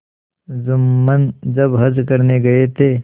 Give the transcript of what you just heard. जुम्मन जब हज करने गये थे